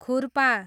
खुर्पा